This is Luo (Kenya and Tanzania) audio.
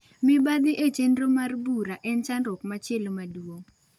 Mibadhi e chenro mar bura en chandruok machielo maduong'.